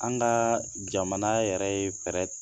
An ka jamana yɛrɛ ye fɛɛrɛ